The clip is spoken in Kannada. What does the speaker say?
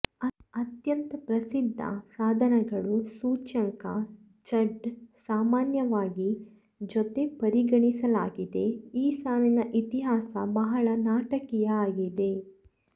ಅತ್ಯಂತ ಪ್ರಸಿದ್ಧ ಸಾಧನಗಳು ಸೂಚ್ಯಂಕ ಝಡ್ ಸಾಮಾನ್ಯವಾಗಿ ಜೊತೆ ಪರಿಗಣಿಸಲಾಗಿದೆ ಈ ಸಾಲಿನ ಇತಿಹಾಸ ಬಹಳ ನಾಟಕೀಯ ಆಗಿದೆ